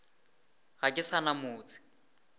ga ke sa na motse